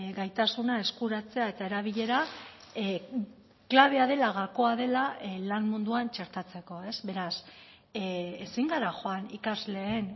gaitasuna eskuratzea eta erabilera klabea dela gakoa dela lan munduan txertatzeko ez beraz ezin gara joan ikasleen